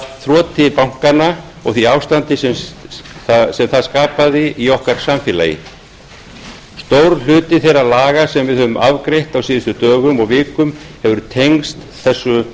þroti bankanna og því ástandi sem það skapaði í okkar samfélagi stór hluti þeirra laga sem við höfum afgreitt á síðustu dögum og vikum hefur tengst þessu